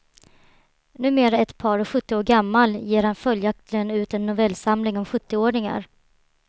Numera ett par och sjuttio år gammal ger han följaktligen ut en novellsamling om sjuttioåringar.